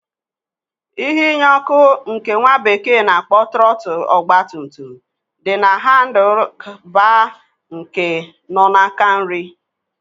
Ihe inye ọkụ nke nwa bekee na-akpọ Trọtl ogba tum tum di na handl baa nke nọ n'aka nrị.